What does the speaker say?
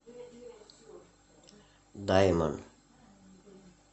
даймон